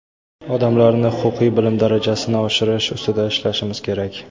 odamlarni huquqiy bilim darajasini oshirish ustida ishlashimiz kerak.